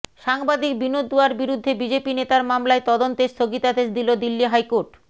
সাংবাদিক বিনোদ দুয়ার বিরুদ্ধে বিজেপি নেতার মামলায় তদন্তে স্থগিতাদেশ দিল দিল্লি হাইকোর্ট